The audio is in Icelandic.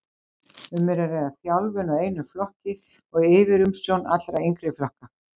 Um er að ræða þjálfun á einum flokki og yfirumsjón allra yngri flokka.